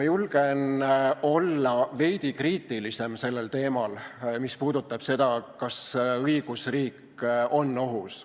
Julgen olla veidi kriitilisem selle koha pealt, mis puudutab küsimust, kas õigusriik on ohus.